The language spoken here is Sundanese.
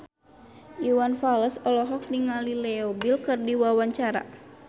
Iwan Fals olohok ningali Leo Bill keur diwawancara